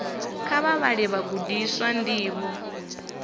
kha vha vhalele vhagudiswa ndivho